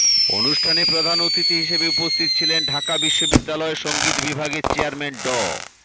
অনুষ্ঠানে প্রধান অতিথি হিসেবে উপস্থিত ছিলেন ঢাকা বিশ্ববিদ্যালয় সঙ্গীত বিভাগের চেয়ারম্যান ড